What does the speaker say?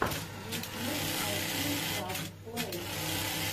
ютьюб найти джаст плей